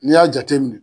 N'i y'a jateminɛ